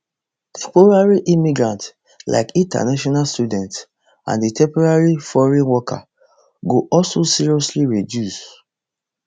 temporary immigrants like international students and temporary foreign workers go also seriously reduce